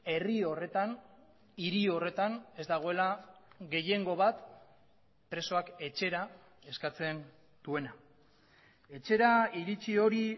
herri horretan hiri horretan ez dagoela gehiengo bat presoak etxera eskatzen duena etxera iritzi hori